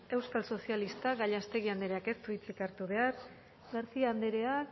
euskal sozialistak gallastegui andreak ez du hitzik hartu behar garcia andrea